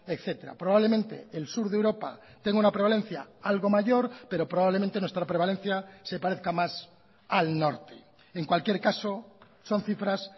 etcétera probablemente el sur de europa tenga una prevalencia algo mayor pero probablemente nuestra prevalencia se parezca más al norte en cualquier caso son cifras